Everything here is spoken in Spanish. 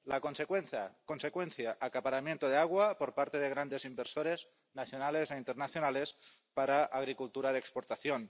La consecuencia acaparamiento de agua por parte de grandes inversores nacionales e internacionales para agricultura de exportación.